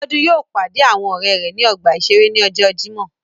Biodun yóò pàdé àwọn ọrẹ rẹ ní ọgbà iṣere ní ọjọ Jimọ